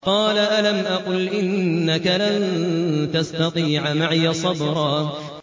قَالَ أَلَمْ أَقُلْ إِنَّكَ لَن تَسْتَطِيعَ مَعِيَ صَبْرًا